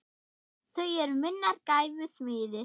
Þau eru minnar gæfu smiðir.